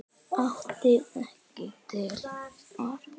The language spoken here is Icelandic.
Átti ekki til orð.